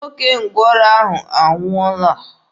Nwoke ngwọrọ ahụ anwụọọla.